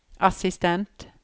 assistent